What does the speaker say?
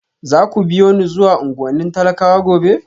Za ku biyo ni zuwa unguwannin talakawa gobe?